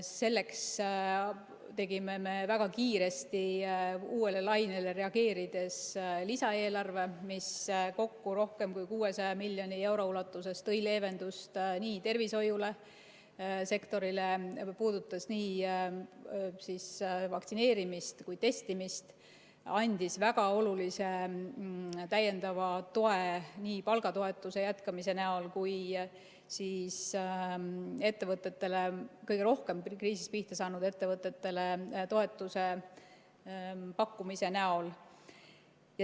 Selleks tegime me väga kiiresti uuele lainele reageerides lisaeelarve, mis kokku rohkem kui 600 miljoni euro ulatuses tõi leevendust tervishoiusektorile, see puudutas nii vaktsineerimist kui ka testimist, ning andis väga olulise täiendava toe nii palgatoetuse jätkamise näol kui ka kõige rohkem kriisis pihta saanud ettevõtetele toetuse pakkumise näol.